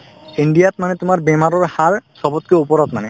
ইণ্ডিয়াত মানে তোমাৰ বেমাৰৰ হাৰ চবতকৈ ওপৰত মানে